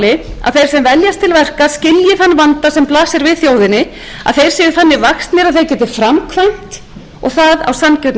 til verka skilji þann vanda sem blasir við þjóðinni að þeir séu þannig vaxnir að þeir geti framkvæmt og það á sanngjörnum